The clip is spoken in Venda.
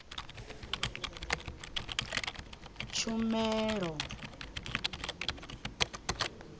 tshumelo